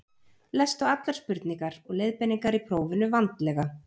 Lestu allar spurningar og leiðbeiningar í prófinu vandlega.